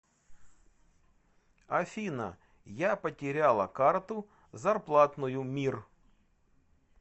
афина я потеряла карту зарплатную мир